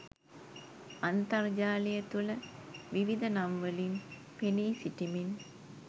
අන්තර්ජාලය තුළ විවිධ නම්වලින් පෙනී සිටිමින්